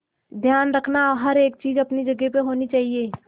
ध्यान रखना हर एक चीज अपनी जगह पर होनी चाहिए